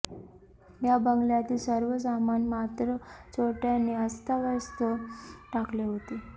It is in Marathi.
या बंगल्यातील सर्व सामान मात्र चोरट्यांनी अस्ताव्यस्त टाकले होते